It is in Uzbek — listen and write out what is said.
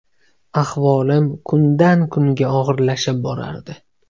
Ahvolim kundan kunga og‘irlashib borardi.